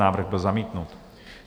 Návrh byl zamítnut.